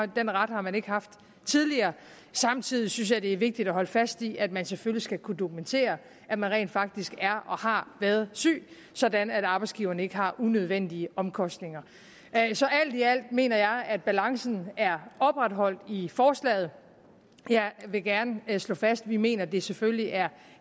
den ret har man ikke haft tidligere samtidig synes jeg at det er vigtigt at holde fast i at man selvfølgelig skal kunne dokumentere at man rent faktisk er og har været syg sådan at arbejdsgiveren ikke har unødvendige omkostninger så alt i alt mener jeg at balancen er opretholdt i forslaget jeg vil gerne slå fast at vi mener at det selvfølgelig er